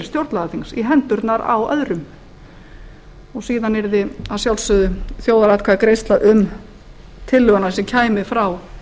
stjórnlagaþings í hendurnar á öðrum og síðan yrði að sjálfsögðu þjóðaratkvæðagreiðsla um tillöguna sem kæmi frá